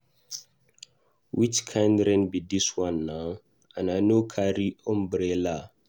Which kin rain be dis one now and I no carry umbrella.